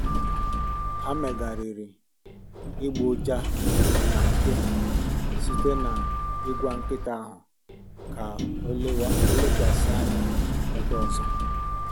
Ha megharịrị ịgbọ ụja na mpio site na ịgwa nkịta ahụ ka ọ lekwasị anya ebe ọzọ